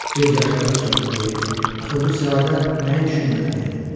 Göz yaşlarım isə mənə deyirdi: Axı bu səadət nə üçün mənə verilib?